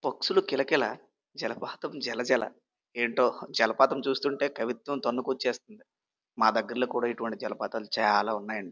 పక్షులు కిలకిల జలపాతం జలజల ఏంటో జలపాతం చేస్తూ ఉంటే కవిత్వం తనుకు వచ్చేసింది మా దగ్గరలో జలపాతాలు చాలా ఉన్నాయి.